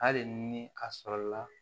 Hali ni a sɔrɔla